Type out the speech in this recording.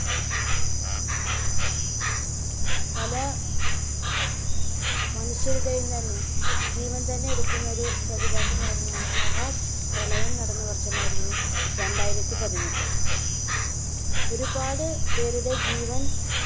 പല മനുഷ്യരുടെയും തന്നെ ജീവൻ തന്നെ എടുക്കുന്നൊരു പ്രതിഭാസം ആയിരുന്നു അന്ന്. മഹാപ്രളയം നടന്ന വർഷമായിരുന്നു രണ്ടായിരത്തി പതിനെട്ട്. ഒരുപാട് പേരുടെ ജീവൻ